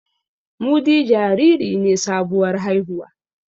Mudi jariri ne sabuwar haihuwa